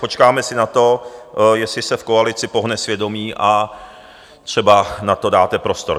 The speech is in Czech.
Počkáme si na to, jestli se v koalici pohne svědomí, a třeba na to dáte prostor.